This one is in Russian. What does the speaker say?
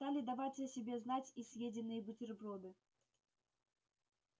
стали давать о себе знать и съеденные бутерброды